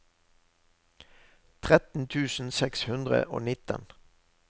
tretten tusen seks hundre og nitten